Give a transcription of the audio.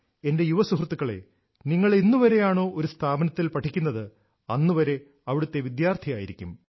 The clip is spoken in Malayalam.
എന്റെ യുവ സുഹൃത്തുക്കളെ നിങ്ങൾ എന്നുവരെയാണോ ഒരു സ്ഥാപനത്തിൽ പഠിക്കുന്നത് അന്ന് വരെ അവിടുത്തെ വിദ്യാർഥിയായിരിക്കും